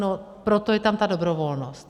No proto je tam ta dobrovolnost.